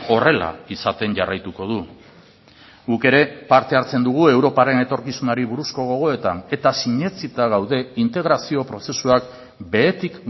horrela izaten jarraituko du guk ere parte hartzen dugu europaren etorkizunari buruzko gogoetan eta sinetsita gaude integrazio prozesuak behetik